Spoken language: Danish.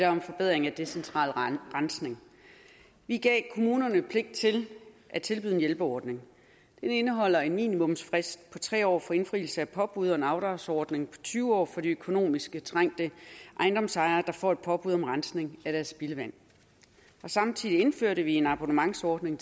om forbedring af decentral rensning vi gav kommunerne pligt til at tilbyde en hjælpeordning den indeholder en minimumsfrist på tre år for indfrielse af påbud og en afdragsordning på tyve år for de økonomisk trængte ejendomsejere der får påbud om rensning af deres spildevand samtidig indførte vi en abonnementsordning